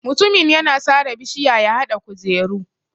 Mutumin yana sare bishiya ya haɗa kujeru.